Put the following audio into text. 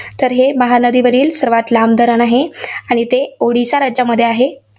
तर हे महानदीवरील सर्वांत लांब धरण आहे. आणि ते ओडिसा राज्यामध्ये आहे.